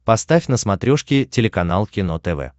поставь на смотрешке телеканал кино тв